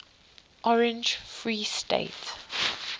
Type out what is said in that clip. orange free state